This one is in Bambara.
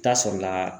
Taa sɔrɔla